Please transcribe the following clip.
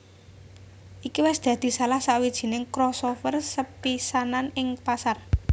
Iki wis dadi salah sawijining crossover sepisanan ing pasar